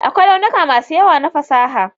Akwai launuka masu yawa na fasaha.